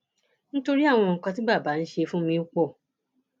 nítorí àwọn nǹkan tí bàbá ń ṣe fún mi pọ